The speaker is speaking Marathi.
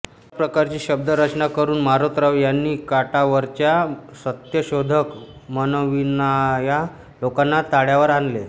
अशा प्रकारची शब्द रचना करून मारोतराव यांनी काठावरच्या सत्यशोधक म्हणविणाय़ा लोकाना ताळ्यावर आणले